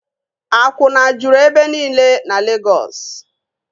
Akwụna juru ebe nile na Legọs